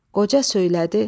Qoca söylədi.